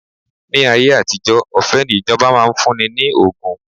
Ni ayé àtijó, ọ̀fẹ́ ni ìjọba máa ń fún ni ní ògùn